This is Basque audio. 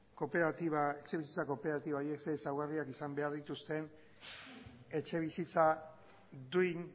etxebizitza kooperatiba horiek zein ezaugarri izan behar dituzten etxebizitza duina